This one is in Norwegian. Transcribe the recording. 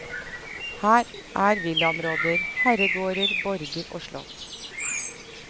Her er villaområder, herregårder, borger og slott.